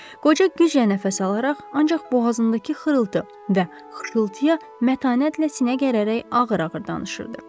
Qoca güclə nəfəs alaraq, ancaq boğazındakı xırıltı və xışıltıya mətanətlə sinə gərərək ağır-ağır danışırdı.